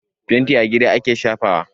Fenti a gida ake shafawa.